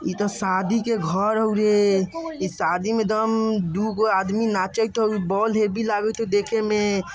इ ते शादी के घर होअ रे इ शादी में एदम दुगो आदमी नाचेएत होअ बोल हेब्बी लागेएत होअ देखे में।